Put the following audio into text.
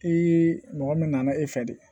mɔgɔ min nana e fɛ de